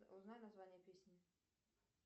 узнай название песни